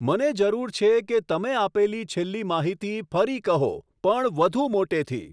મને જરૂર છે કે તમે આપેલી છેલ્લી માહિતી ફરી કહો પણ વધુ મોટેથી